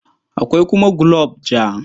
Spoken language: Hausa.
Akwai kuma gulob ja.